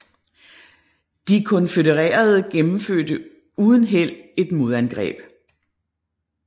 De konfødererede gennemførte uden held et modangreb